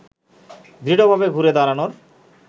দৃঢ়ভাবে ঘুরে দাঁড়ানোর